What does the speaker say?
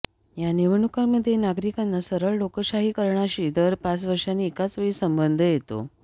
या निवडणुकांमध्ये नागरिकांचा सरळ लोकशाहीकरणाशी दर पाच वर्षांनी एकाच वेळी संबंध येतो